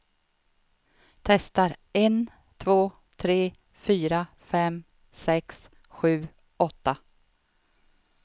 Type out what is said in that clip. Testar en två tre fyra fem sex sju åtta.